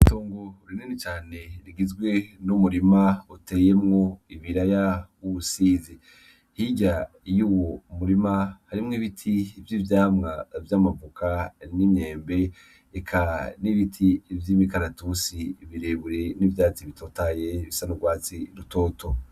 Tungu rineni cane rigizwe n' umurima uteyemwo ibira ya uwusizi hirya iyo uwu murima harimwo ibiti ivyo ivyamwa vy'amavuka n'inyembe eka n'ibiti ivyo imikaratusi birebure n'ivyatsi bitotaye bisanaurwatsi rutoto.